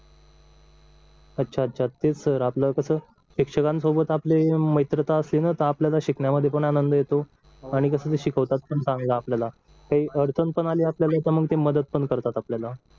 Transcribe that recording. अच्छा अच्छा ते सर आपल्याला कसं शिक्षकांसोबत आपली मित्रता असली ना तर आपल्याला शिकण्यामध्ये पण आनंद येतो आणि तस ते शिकवतात पण चांगलं आपल्याला काही अडचण पण आपल्याला तर ते मदत पण करतात आपल्याला